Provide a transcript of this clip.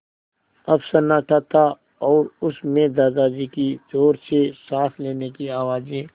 अब सन्नाटा था और उस में दादाजी की ज़ोर से साँस लेने की आवाज़ें